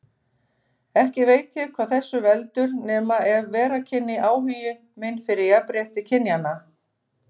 Ekki veit ég hvað þessu veldur, nema ef vera kynni áhugi minn fyrir jafnrétti kynjanna.